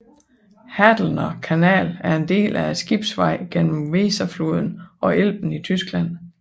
Hadelner Kanal er en del af skibsgenvejen mellem Weserfloden og Elben i Tyskland